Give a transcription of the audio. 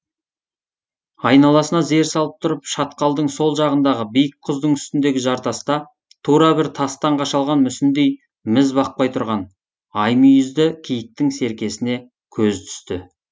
айналасына зер салып тұрып шатқалдың сол жағындағы биік құздың үстіндегі жартаста тура бір тастан қашалған мүсіндей міз бақпай тұрған ай мүйізді киіктің серкесіне көзі түсті